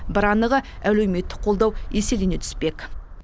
бір анығы әлеуметтік қолдау еселене түспек